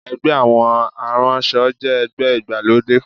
Ẹgbẹ́ àwọn aránṣọ jẹ́ ẹgbẹ́ ìgbàlódé